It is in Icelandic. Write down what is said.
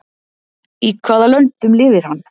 Í hvaða löndum lifir hann?